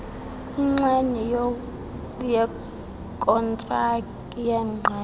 inxenye yokontraki yengqesho